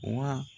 Wa